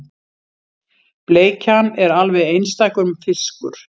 Bleikjan er alveg einstakur fiskur